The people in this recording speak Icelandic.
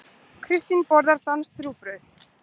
Kristín borðar danskt rúgbrauð.